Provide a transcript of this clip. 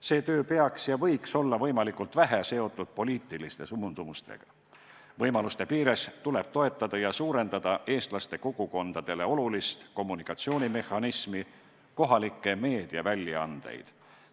See töö peaks olema ja võiks olla võimalikult vähe seotud poliitiliste suundumustega, võimaluste piires tuleb toetada ja suurenda eestlaste kogukondadele olulist kommunikatsioonimehhanismi, kohalikke meediaväljaandeid.